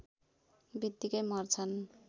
बित्तिकै मर्छन्